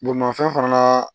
Bolimafɛn fana na